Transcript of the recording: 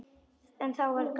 Þá var gaman.